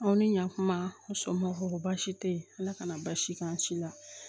Aw ni ɲakuma u muso ma ko baasi tɛ yen ala kana basi k'an si la